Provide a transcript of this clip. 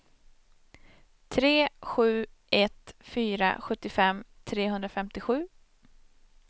tre sju ett fyra sjuttiofem trehundrafemtiosju